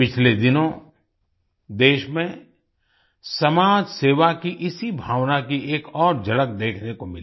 पिछले दिनों देश में समाज सेवा की इसी भावना की एक और झलक देखने को मिली